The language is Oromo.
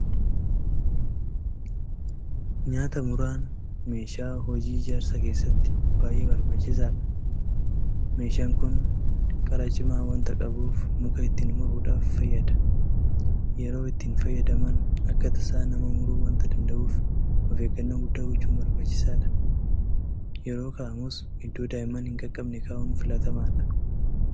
Nyaataa muraan meeshaa hojii ijaarsaa keessatti baay'ee barbaachisaadha. Meeshaan kun qara cimaa waanta qabuuf muka ittiin muruudhaaf fayyada. Yeroo ittiin fayyadaman akka tasaa nama muruu waanta danda'uuf ofeeggannoo guddaa gochuun barbaachisaadha. Yeroo kaa'amus iddoo daa'imman hinqaqqabne kaa'uun filatamaadha.